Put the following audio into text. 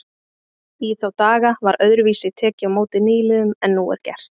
Í þá daga var öðruvísi tekið á móti nýliðum en nú er gert.